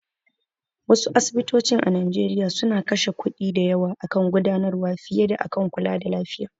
Wasu asibitocin a Nigeria suna kashe kuɗi da yawa akan gudanarwa fiye da akan kulada lafiya.